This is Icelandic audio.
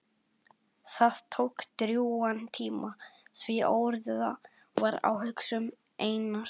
Það tók drjúgan tíma því óreiða var á hugsun Einars.